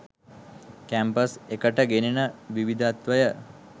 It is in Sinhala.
කැම්පස් එකට ගෙනෙන විවිදත්වය